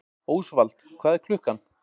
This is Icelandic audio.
Ósvald, hvað er klukkan?